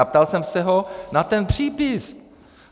A ptal jsem se ho na ten přípis.